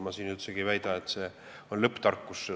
Ma siin üldsegi ei väida, et see on lõpptarkus.